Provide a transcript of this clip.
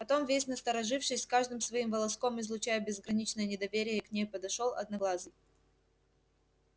потом весь насторожившись каждым своим волоском излучая безграничное недоверие к ней подошёл одноглазый